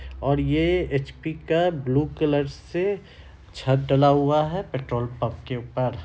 और ये एच.पी. का ब्लू कलर से छत डला हुआ है पेट्रोल पंप के ऊपर।